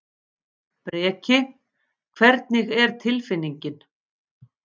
Breki: Hvernig er tilfinningin?